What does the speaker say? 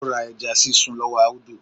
Ó ra ẹja sísun lọ́wọ́ Audu